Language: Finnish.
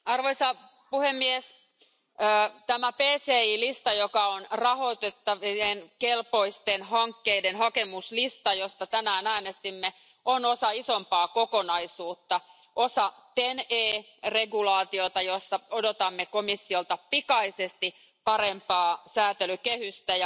Arvoisa puhemies, tämä PCI lista, joka on rahoituskelpoisten hankkeiden hakemuslista, josta tänään äänestimme, on osa isompaa kokonaisuutta, osa TEN E sääntelyä, jossa odotamme komissiolta pikaisesti parempaa sääntelykehystä.